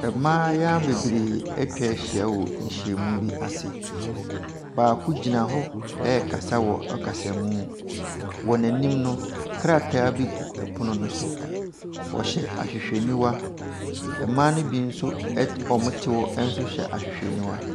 Mmayewa bebree ɛtwahyia wɔ nhyiamu bi ase. Baako gyina hɔ ɛrekasa wɔ kasamuu. Wɔ n'anim no krataa bi gu ɛpono no so. Ɔhyɛ ahwehwɛniwa. Mmaa no bi nso eh wɔte hɔ nso hyɛ ahwehwɛniwa.